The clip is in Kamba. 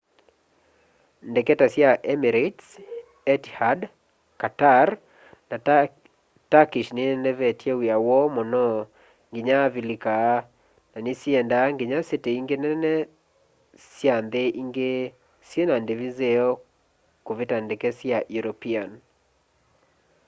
ndeke ta sya emirates etihad qatar na turkish ninenevetye wia woo muno nginya avilika na nisiendaa nginya siti ingi nene sya nthi ingi syina ndivi nzeo kuvita ndeke sya european